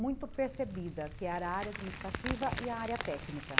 muito percebida, que era a área administrativa e a área técnica.